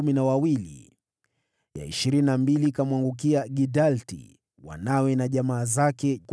ya ishirini na mbili ikamwangukia Gidalti, wanawe na jamaa zake, 12